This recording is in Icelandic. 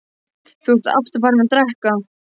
Þú ert aftur farinn að drekka.